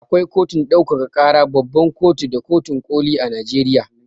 Akwai kotun ɗaukaka ƙara, babban kotu da kotun ƙoli a Najeriya.